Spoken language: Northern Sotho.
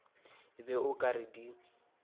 be o ka re di